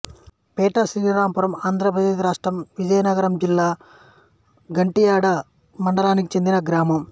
పెంట శ్రీరాంపురం ఆంధ్ర ప్రదేశ్ రాష్ట్రంవిజయనగరం జిల్లా గంట్యాడ మండలానికి చెందిన గ్రామం